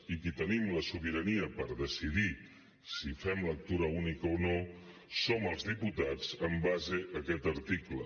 i qui tenim la sobirania per decidir si fem lectura única o no som els diputats en base a aquest article